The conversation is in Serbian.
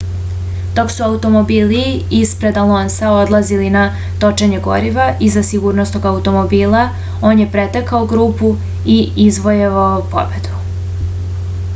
dok su automobili ispred alonsa odlazili na točenje goriva iza sigurnosnog automobila on je pretekao grupu i izvojevao pobedu